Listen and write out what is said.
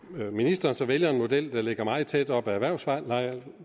når ministeren så vælger en model der ligger meget tæt op ad erhvervslejeloven